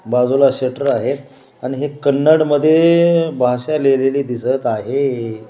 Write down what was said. बाजूला शटर आहे कन्नड मध्ये भाषा लिहिलेली दिसत आहे.